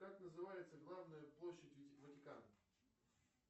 как называется главная площадь ватикана